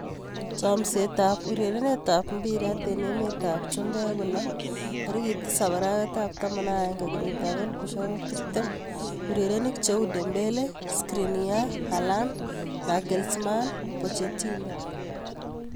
Chomset ab urerenet ab mbiret eng emet ab chumbek kolo 07.11.2020:Dembele, Skriniar, Haaland, Nagelsmann, Pochettino